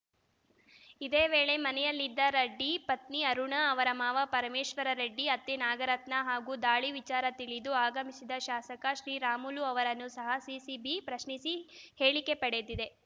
ಇದೇ ವೇಳೆ ಮನೆಯಲ್ಲಿದ್ದ ರೆಡ್ಡಿ ಪತ್ನಿ ಅರುಣಾ ಅವರ ಮಾವ ಪರಮೇಶ್ವರ್‌ ರೆಡ್ಡಿ ಅತ್ತೆ ನಾಗರತ್ನ ಹಾಗೂ ದಾಳಿ ವಿಚಾರ ತಿಳಿದು ಆಗಮಿಸಿದ ಶಾಸಕ ಶ್ರೀರಾಮುಲು ಅವರನ್ನು ಸಹ ಸಿಸಿಬಿ ಪ್ರಶ್ನಿಸಿ ಹೇಳಿಕೆ ಪಡೆದಿದೆ